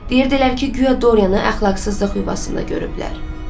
Deyirdilər ki, guya Dorianı əxlaqsızlıq yuvasında görüblər.